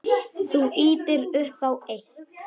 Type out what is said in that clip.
Þú ýtir upp á eitt.